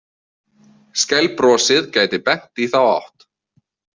Skælbrosið gæti bent í þá átt.